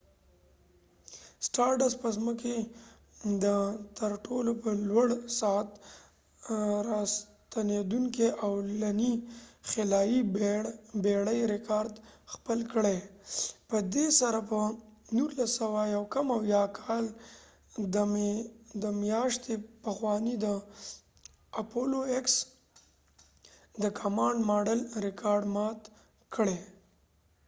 سټارډست به ځمکې ته تر ټولو په لوړ سرعت راستنیدونکې او لنی خلایې بیړی ریکارد خپل کړي . په دي سره به 1969 کال د می د میاشتی پخوانی د اپالو ایکس د کمانډ ماډلapollo x command module ریکاړډ مات کړي